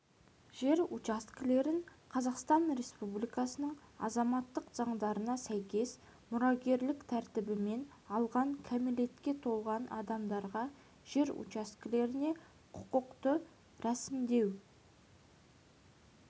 жер учаскелерін қазақстан республикасының азаматтық заңдарына сәйкес мұрагерлік тәртібімен алған кәмелетке толмаған адамдарға жер учаскелеріне құқықты рәсімдеу